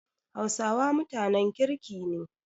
Hausawa mutanen kirki ne.